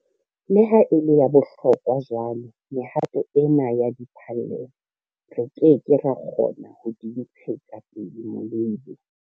Le ha e le ya bohlokwa jwalo, mehato ena ya diphallelo, re ke ke ra kgona ho di ntshetsa pele molebe.